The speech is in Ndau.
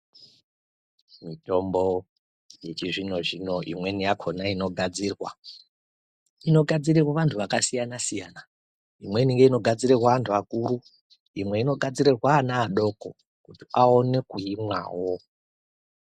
Mitombo yechizvino zvino inweni yakona inogadzirirwa inogadzirwa vantu vakasiyana siyana imweni ngeinogadzirirwa vantu vakuru imweni inogadzirirwa vana vadoko kuti aone kuimwawo